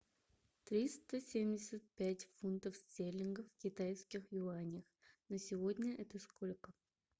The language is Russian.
триста семьдесят пять фунтов стерлингов в китайских юанях на сегодня это сколько